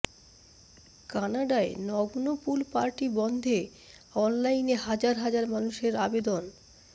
কানাডায় নগ্ন pool party বন্ধে অনলাইনে হাজার হাজার মানুষের আবেদন